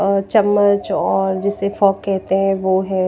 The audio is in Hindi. और चम्मच और जिसे फोर्क कहते हैं वो है।